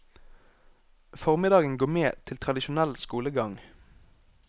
Formiddagen går med til tradisjonell skolegang.